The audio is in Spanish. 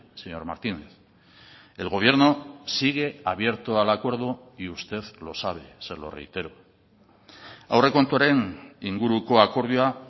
señor martínez el gobierno sigue abierto al acuerdo y usted lo sabe se lo reitero aurrekontuaren inguruko akordioa